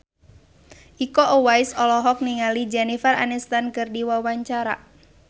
Iko Uwais olohok ningali Jennifer Aniston keur diwawancara